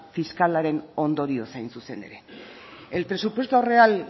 fiskalaren ondorioz hain zuzen ere el presupuesto real